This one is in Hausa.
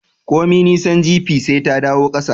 Komi nisan jipi, sai ta dawo kasa